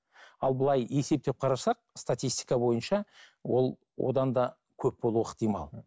ал бұлай есептеп қарасақ статистика бойынша ол одан да көп болуы ықтимал